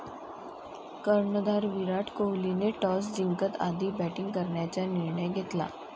कर्णधार विराट कोहलीने टॉस जिंकत आधी बॅटींग करण्याचा निर्णय घेतला.